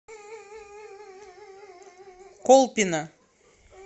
колпино